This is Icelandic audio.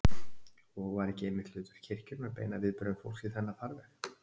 Og var ekki einmitt hlutverk kirkjunnar að beina viðbrögðum fólks í þennan farveg?